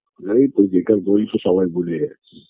তাই তো বেকার বলেই তো সবাই ভুলে যাচ্ছে